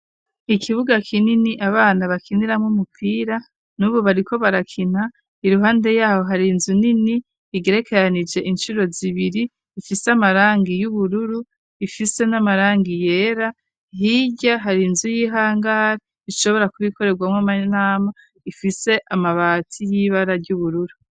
Ikibuga kinini abana bakiniramo umupira n'ubu bariko barakina iruhande yaho hari nzu nini igerekeranije inshiro zibiri ifise .Amarangi y'ubururu ifise n'amarangi yera hirya hari inzu y'ihangari ishobora kubikorerwamo amanama ifise amabati y'ibara ry'ubururu.